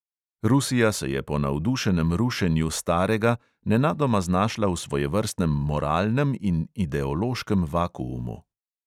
Rusija se je po navdušenem rušenju starega nenadoma znašla v svojevrstnem moralnem in ideološkem vakuumu.